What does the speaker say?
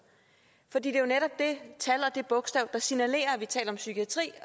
for det er jo netop det tal og det bogstav der signalerer at vi taler om psykiatri